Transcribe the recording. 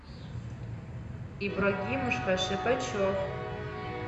ибрагимушка шипачев